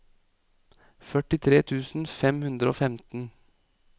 førtitre tusen fem hundre og femten